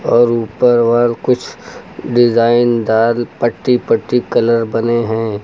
और ऊपर वर कुछ डिजाइनदार पट्टी पट्टी कलर बने हैं।